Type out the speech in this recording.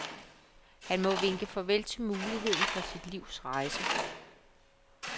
Han må vinke farvel til muligheden for sit livs rejse.